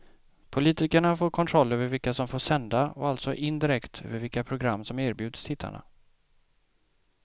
Politikerna får kontroll över vilka som får sända och alltså indirekt över vilka program som erbjuds tittarna.